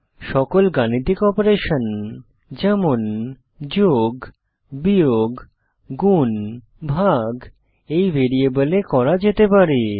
সকল গাণিতিক অপারেশন যেমন যোগ বিয়োগ গুন ভাগ এই ভ্যারিয়েবলে করা যেতে পারে